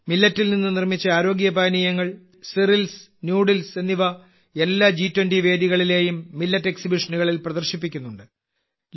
മില്ലറ്റിൽ നിന്ന് നിർമ്മിച്ച ആരോഗ്യ പാനീയങ്ങൾ സീരിയൽസ് നൂഡിൽസ് എന്നിവ എല്ലാ ജി 20 വേദികളിലെയും മില്ലറ്റ് എക്സിബിഷനുകളിൽ പ്രദർശിപ്പിക്കുന്നുണ്ട്